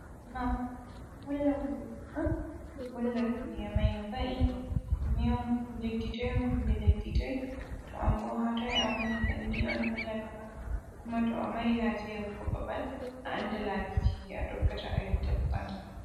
Map ɗo holla wuroji ɗo holla duniya mai no va’i dume un leddi toi on kombi leddi toi to am bo hatoi a woni banni on hollata ma kokuma to a mari haje yehugo babal a anda labiji a tokkata a yotta babal man.